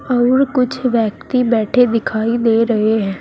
और कुछ व्यक्ति बैठे दिखाई दे रहे हैं।